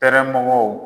Kɛrɛmɔgɔw